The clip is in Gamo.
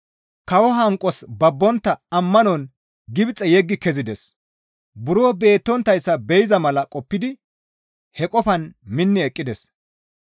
Kawoza hanqos babbontta ammanon Gibxe yeggi kezides; buro beettonttayssa be7iza mala qoppidi he qofaan minni eqqides.